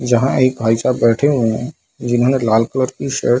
यहाँ एक भाई साहब बैठे हुए है जिन्होंने लाल कलर की शर्ट --